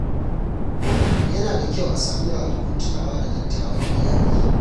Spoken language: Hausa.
Yana da kyau a sami ranakun tunawa da dattawan iyali.